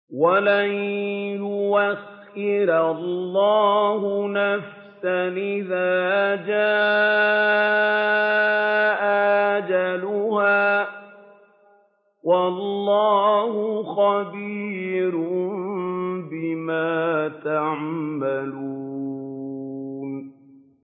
وَلَن يُؤَخِّرَ اللَّهُ نَفْسًا إِذَا جَاءَ أَجَلُهَا ۚ وَاللَّهُ خَبِيرٌ بِمَا تَعْمَلُونَ